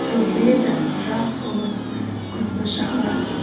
төгіледі жас болып күзгі шаһар